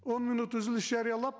он минут үзіліс жариялап